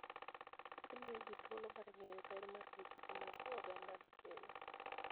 Gimiyo ji thuolo mar ng'eyo ber ma gikeni mag ogandano kelo.